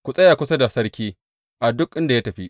Ku tsaya kusa da sarki a duk inda ya tafi.